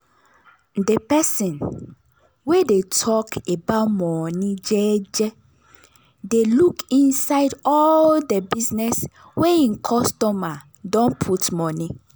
de person wey dey tok about money jeje dey look inside all de business wey hin customer don put money.